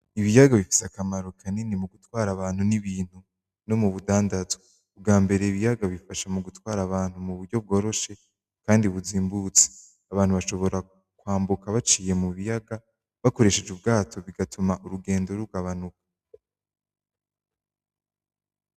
Ibiyaga bifise akamaro kanini mu gutwara abantu n'ibintu no mu budandazwa, ubwambere ibiyaga bifasha mu gutwara abantu mu buryo bworoshe kandi buzimbutse, abantu bashobora kwambuka baciye mu biyaga bakoresheje ubwato bigatuma urugendo rugabanuka.